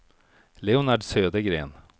Leonard Södergren